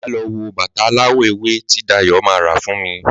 Màá lọ wo bàtà aláwọ̀ ewé tí Dayò ma rà fún mi